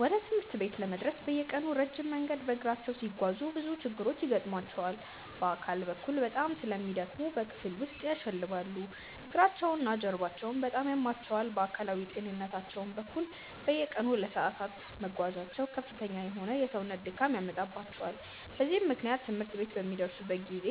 ወደ ትምህርት ቤት ለመድረስ በየቀኑ ረጅም መንገድ በእግራቸው ሲጓዙ ብዙ ችግሮች ይገጥሟቸዋል። በአካል በኩል በጣም ስለሚደክሙ በክፍል ውስጥ ያሸልባሉ፤ እግራቸውና ጀርባቸውም በጣም ያማቸዋል። በአካላዊ ጤንነታቸው በኩል፣ በየቀኑ ለሰዓታት መጓዛቸው ከፍተኛ የሆነ የሰውነት ድካም ያመጣባቸዋል። በዚህም ምክንያት ትምህርት ቤት በሚደርሱበት ጊዜ